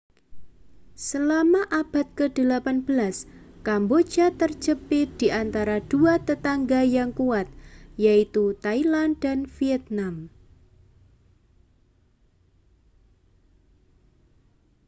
selama abad ke-18 kamboja terjepit di antara dua tetangga yang kuat yaitu thailand dan vietnam